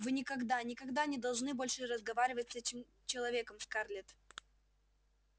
вы никогда никогда не должны больше разговаривать с этим человеком скарлетт